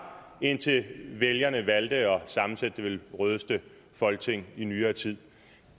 indtil vælgerne valgte at sammensætte det vel rødeste folketing i nyere tid